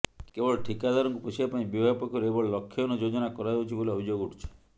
କେବଳ ଠିକାଦାରଙ୍କୁ ପୋଷିବା ପାଇଁ ବିଭାଗ ପକ୍ଷରୁ ଏଭଳି ଲକ୍ଷହୀନ ଯୋଜନା କରାଯାଉଛି ବୋଲି ଅଭିଯୋଗ ଉଠିଛି